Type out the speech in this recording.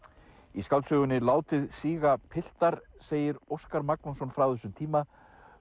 í skáldsögunni látið síga piltar segir Óskar Magnússon frá þessum tíma